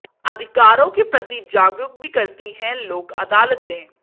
अधिकारों के प्रति जागरूक भी करती हैं लोक अदालतें